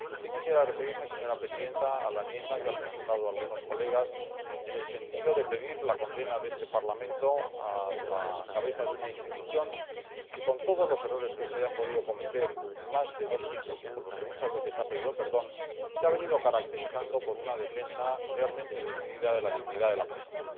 Sí quisiera referirme, señora Presidenta, a la enmienda que han presentado algunos colegas en el sentido de pedir la condena de este Parlamento para la cabeza de una institución que, con todos los errores que se hayan podido cometer en más de dos milenios y por los que muchas veces se ha pedido perdón, se ha venido caracterizando por una defensa realmente decidida de la dignidad de la persona.